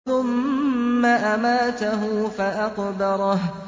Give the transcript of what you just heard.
ثُمَّ أَمَاتَهُ فَأَقْبَرَهُ